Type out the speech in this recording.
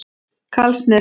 Hvalsnesi